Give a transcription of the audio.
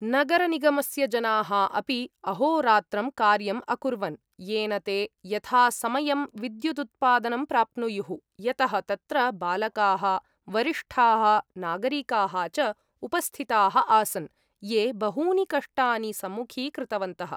नगरनिगमस्य जनाः अपि अहोरात्रं कार्यम् अकुर्वन्, येन ते यथासमयं विद्युदुत्पादनं प्राप्नुयुः, यतः तत्र बालकाः वरिष्ठाः नागरिकाः च उपस्थिताः आसन् ये बहूनि कष्टानि सम्मुखीकृतवन्तः।